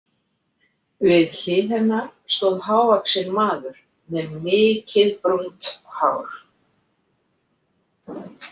Við hlið hennar stóð hávaxinn maður með mikið brúnt hár.